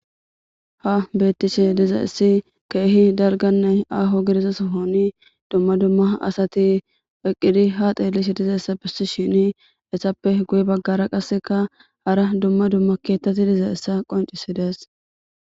ha beettishe diza issi keehi dalgannay aho gidiza sohoni dumma dumma asati eqqidi ha xeelishe dizayssa bissishini hesappe guye baggara qasseka hara dumma dumma keettati diza issa qoncisidees